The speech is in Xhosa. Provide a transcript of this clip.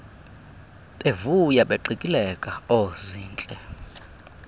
bevuya beqikileka oozintle